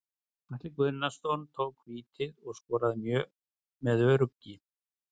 Atli Guðnason tók vítið og skoraði með öruggi.